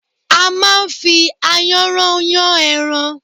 A máa ń fi ayanran yàn ẹran